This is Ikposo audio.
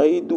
ayiʋ idu